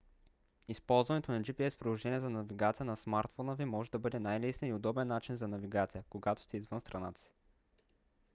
използването на gps приложения за навигация на смартфона ви може да бъде най-лесният и удобен начин за навигация когато сте извън страната си